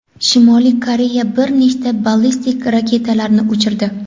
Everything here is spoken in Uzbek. Shimoliy Koreya bir nechta ballistik raketalarni uchirdi.